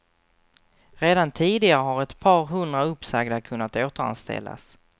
Redan tidigare har ett par hundra uppsagda kunnat återanställas.